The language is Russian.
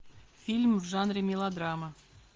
фильм в жанре мелодрама